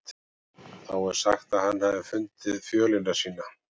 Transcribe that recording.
Þá er sagt að hann hafi fundið fjölina sína.